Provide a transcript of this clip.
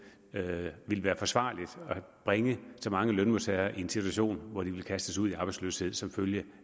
at det ville være forsvarligt at bringe så mange lønmodtagere i en situation hvor de ville blive kastet ud i arbejdsløshed som følge